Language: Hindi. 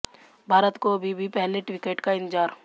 भारत को अभी भी पहले विकेट का इंतज़ार